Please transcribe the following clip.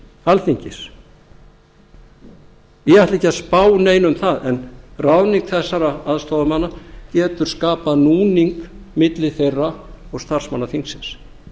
alþingis ég ætla ekki að spá neinu um það en ráðning þessara aðstoðarmanna getur skapað núning milli þeirra og starfsmanna þingsins